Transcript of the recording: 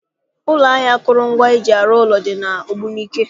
Ụlọ ahịa akụrụngwa eji arụ ụlọ dị n'Ogbunike